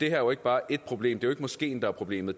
er jo ikke bare ét problem det er jo moskeen der er problemet